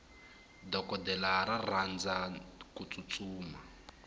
dokodela ra rhandza kutsutsuma